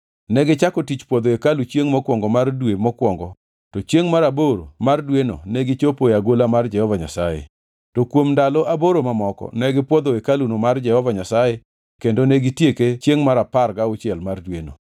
Negichako tich pwodho hekalu chiengʼ mokwongo mar dwe mokwongo to chiengʼ mar aboro mar dweno negichopo e agola mar Jehova Nyasaye. To kuom ndalo aboro mamoko ne gipwodho hekaluno mar Jehova Nyasaye kendo ne gitieke chiengʼ mar apar gauchiel mar dweno.